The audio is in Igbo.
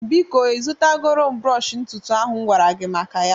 Biko ị zụtara goro m brọsh ntutu ahu m m gwara gị maka ya